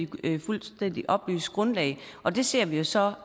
på et fuldstændig oplyst grundlag og det ser vi så